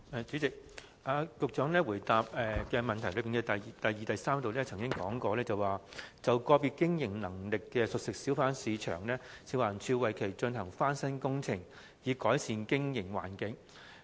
主席，局長在主體答覆第二及三部分指出，"就個別具經營能力的熟食小販市場，食環署會為其進行翻新工程，以改善經營環境"。